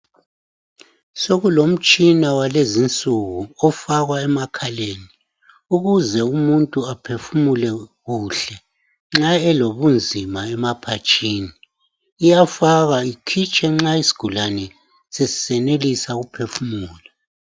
Sokulomtshina walezinsuku ofakwa emakhaleni ukuze umuntu aphefumule kuhle nxa elobunzima emaphatshini, iyafakwa ikhitshwe nxa isigulani sesisenelisa ukuphefumula.